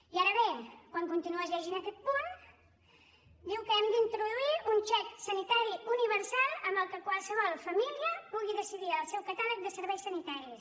i ara bé quan continues llegint aquest punt diu que hem d’introduir un xec sanitari universal amb què qualsevol família pugui decidir el seu catàleg de serveis sanitaris